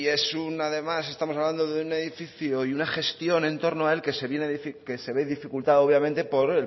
es un además estamos hablando de un edificio y una gestión entorno a él que se viene a decir que se ve dificultado obviamente por